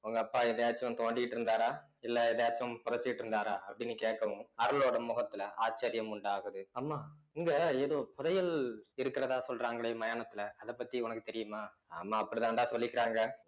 உங்க அப்பா எதையாச்சும் தோண்டிட்டு இருந்தாரா இல்ல எதையாச்சும் புதச்சிட்டு இருந்தாரா அப்படின்னு கேட்கவும் அருளோட முகத்துல ஆச்சரியம் உண்டாகுது அம்மா இங்க ஏதோ புதையல் இருக்கிறதா சொல்றாங்களே மயானத்துல அதப்பத்தி உனக்கு தெரியுமா ஆமா அப்படித்தாண்டா சொல்லிக்கிறாங்க